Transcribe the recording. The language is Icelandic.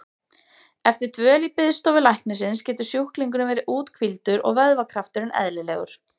Eftir dvöl í biðstofu læknisins getur sjúklingurinn verið úthvíldur og vöðvakrafturinn eðlilegur.